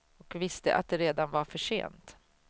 Och visste att det redan var för sent.